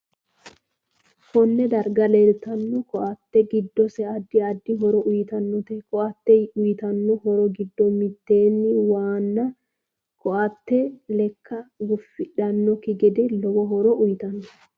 Konne darga leeltanno ko'ate giddose addi addi horo uyiitanote ko'ate uyiitanno horo giddo mittena waana ko'ate lekka gufidhanoki gede lowo horo uyiitanno